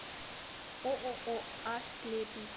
ооо асклепий